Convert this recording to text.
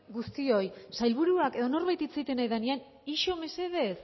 guztioi sailburuak edo norbait hitz egiten ari denean ixo mesedez